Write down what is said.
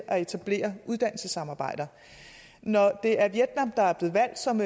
at etablere uddannelsessamarbejder når det er vietnam der er blevet valgt som